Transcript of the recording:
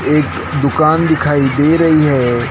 एक दुकान दिखाई दे रही है।